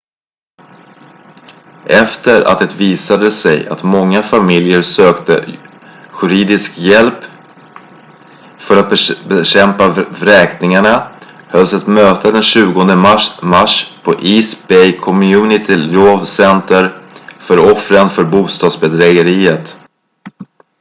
efter att det visade sig att många familjer sökte juridisk hjälp för att bekämpa vräkningarna hölls ett möte den 20 mars på east bay community law center för offren för bostadsbedrägeriet